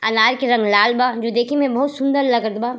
अनार ले रंग लाल बा जो देखे में बहुत सुन्दर लगत बा।